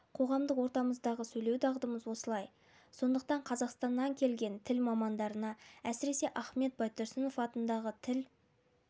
қоғамдық ортамыздағы сөйлеу дағдымыз осылай сондықтан қазақстаннан келген тіл мамандарына әсіресе ахмет байтұрсынов атындағы тіл